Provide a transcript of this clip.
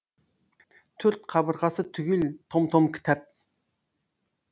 төрт қабырғасы түгел том том кітап